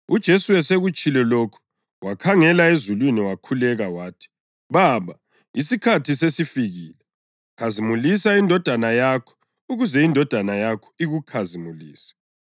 UJesu esekutshilo lokhu, wakhangela ezulwini wakhuleka wathi: “Baba, isikhathi sesifikile. Khazimulisa iNdodana yakho, ukuze iNdodana yakho ikukhazimulise.